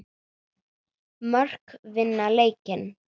Mörk vinna leiki.